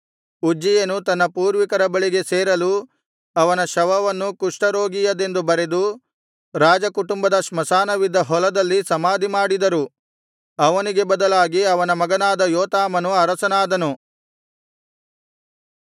ಉಜ್ಜೀಯನು ತನ್ನ ಪೂರ್ವಿಕರ ಬಳಿಗೆ ಸೇರಲು ಅವನ ಶವವನ್ನು ಕುಷ್ಠ ರೋಗಿಯದೆಂದು ಬಗೆದು ರಾಜ ಕುಟುಂಬದ ಸ್ಮಶಾನವಿದ್ದ ಹೊಲದಲ್ಲಿ ಸಮಾಧಿ ಮಾಡಿದರು ಅವನಿಗೆ ಬದಲಾಗಿ ಅವನ ಮಗನಾದ ಯೋತಾಮನು ಅರಸನಾದನು